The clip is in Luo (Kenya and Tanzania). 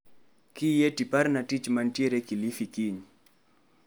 Kiyie to iparna tich mantiere Kilifi kiny.